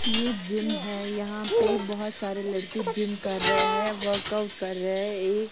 ये जिम है यहां पे बहोत सारे लड़के जिम कर रहे हैं वर्कआउट कर रहे हैं ये--